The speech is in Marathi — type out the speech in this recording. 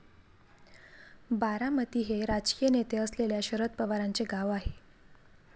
बारामती हे राजकीय नेते असलेल्या शरद पवारांचे गाव आहे.